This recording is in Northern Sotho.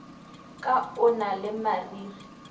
ka o na le marere